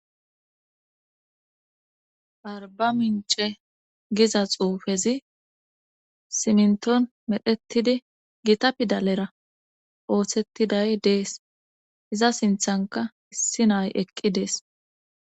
arba mince giza xuufezi simnton medhettidi gita pidalera ooththettiday dees iza sinthanka issi naay eqqi dees